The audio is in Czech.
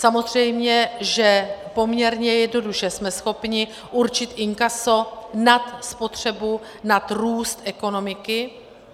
Samozřejmě že poměrně jednoduše jsme schopni určit inkaso nad spotřebu, nad růst ekonomiky.